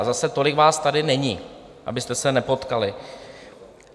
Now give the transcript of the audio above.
A zase tolik vás tady není, abyste se nepotkali.